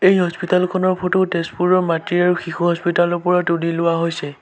এই হস্পিটেল খনৰ ফটো তেজপুৰৰ মাতৃ আৰু শিশু হস্পিটাল ৰ পৰা তুলি লোৱা হৈছে।